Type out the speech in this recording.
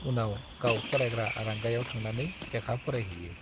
उनाव गाव फरायग्रा आरांगायाव थांनानै लेखा फरायहैयो।